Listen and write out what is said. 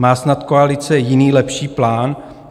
Má snad koalice jiný lepší plán?